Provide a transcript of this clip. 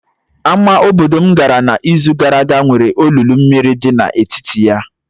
Ámá obodo m gara n'izu gara aga nwere olulu mmiri dị n'etiti ya.